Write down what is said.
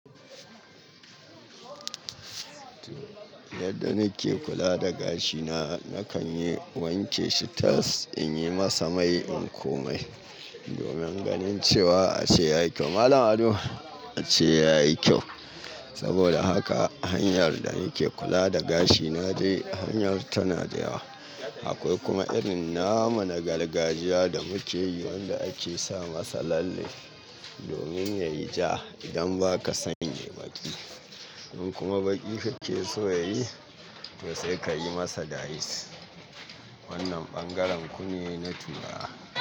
Yadda nike kula da gashina, nakan yi wanke shi ta's in yi masa mai in komai, domin ganin cewa ace yayi kyau. Malam ado ace yayi kyau. Saboda haka hanyar da nike kula da gashina dai hanyar tana da yawa. Akwai kuma irin nama na gargajiya da muke yi wanda ake sa masa lalle domin yayi ja idan ba ka sanya baƙi. In kuma baƙi kake so yayi to sai ka yi masa dice. Wannan bangaren ku ne na turawa.